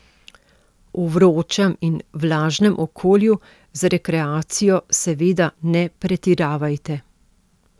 V vročem in vlažnem okolju z rekreacijo seveda ne pretiravajte.